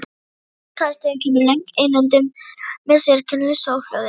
Á eftir þessum köstum kemur löng innöndun með sérkennilegu soghljóði.